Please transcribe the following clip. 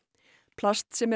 plast sem